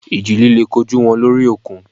Ìjì líle kojú wọn lórí òkun.